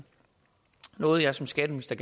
noget jeg som skatteminister